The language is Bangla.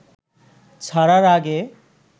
ছাড়ার আগে